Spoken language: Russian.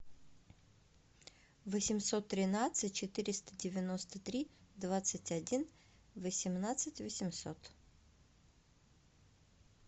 восемьсот тринадцать четыреста девяносто три двадцать один восемнадцать восемьсот